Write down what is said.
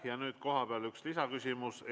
Ja nüüd kohapealt üks lisaküsimus.